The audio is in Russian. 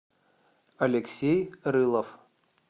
алексей рылов